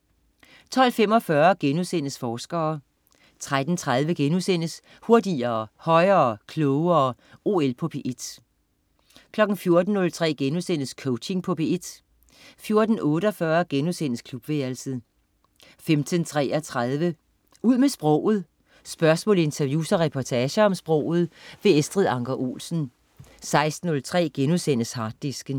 12.45 Forskere* 13.30 Hurtigere, højere, klogere. OL på P1* 14.03 Coaching på P1* 14.48 Klubværelset* 15.33 Ud med sproget. Spørgsmål, interviews og reportager om sproget. Estrid Anker Olsen 16.03 Harddisken*